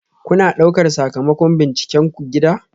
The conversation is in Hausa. Kuna ɗaukar sakamakon bincikenku gida?